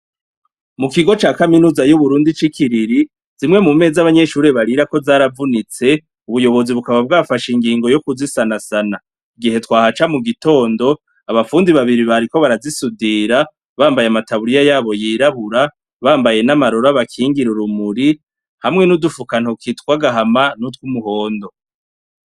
Mu kigo ca kaminuza y'uburundi c'i kiriri zimwe mu meza abanyeshurire barira ko zaravunitse ubuyobozi bukaba bwafasha ingingo yo kuzisanasana igihe twahaca mu gitondo abapfundi babiri bariko barazisudira bambaye amataburiya yabo yirahura bambaye n'amaroro abakingira urumuri hamwe n'udufukantokitwa gahama nutwe umuhondo.